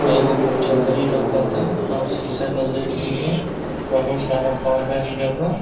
एगो छतरी लोउकाता। अउ शीशा का गेट भी बा। बहुत सारा पौधा एजा बा।